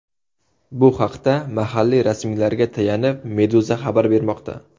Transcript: Bu haqda mahalliy rasmiylarga tayanib, Meduza xabar bermoqda .